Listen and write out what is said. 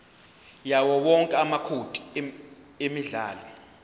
yawowonke amacode emidlalo